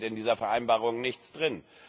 Es steht in dieser Vereinbarung nichts drin.